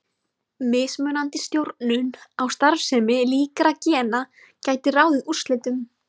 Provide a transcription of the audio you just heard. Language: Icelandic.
Mismunandi stjórnun á starfsemi líkra gena gæti ráðið úrslitum.